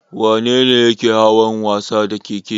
Wanene yake yawan wasa da ƙeƙe?